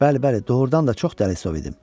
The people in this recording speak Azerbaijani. Bəli, bəli, doğurdan da çox dəlisov idim.